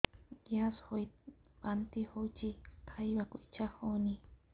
gas ହୋଇ ବାନ୍ତି ହଉଛି ଖାଇବାକୁ ଇଚ୍ଛା ହଉନି